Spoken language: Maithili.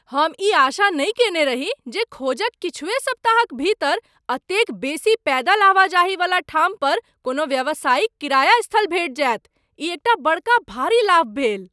हम ई आशा नहि कयने रही जे खोजक किछुए सप्ताहक भीतर एतेक बेसी पैदल आवाजाही वला ठाम पर कोनो व्यावसायिक किराया स्थल भेटि जायत, ई एकटा बड़का भारी लाभ भेल।